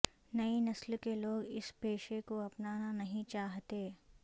نئی نسل کے لوگ اس پیشے کو اپنانا نہیں چاہتے